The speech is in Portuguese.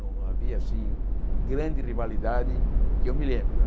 Não havia assim grande rivalidade, que eu me lembro né.